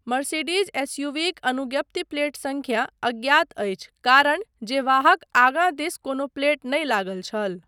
Mercedes एसयूवीक अनुज्ञप्ति plate संख्या अज्ञात अछि कारण जे वाहक आगाँ दिस कोनो प्लेट नहि लागल छल।